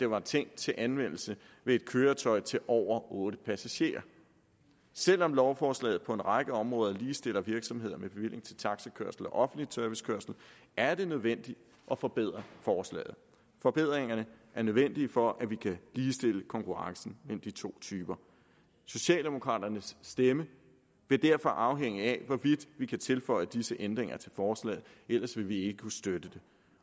var tænkt til anvendelse ved et køretøj til over otte passagerer selv om lovforslaget på en række områder ligestiller virksomheder med bevilling til taxakørsel og offentlig servicekørsel er det nødvendigt at forbedre forslaget forbedringerne er nødvendige for at vi kan ligestille konkurrencen mellem de to typer socialdemokraternes stemme vil derfor afhænge af hvorvidt vi kan tilføje disse ændringer til forslaget ellers vil vi ikke kunne støtte det